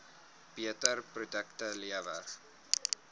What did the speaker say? beter produkte lewer